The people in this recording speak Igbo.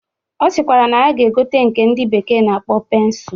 Ọ sịkwara na ya ga-egote nke ndị bekee na-akpọ pensụl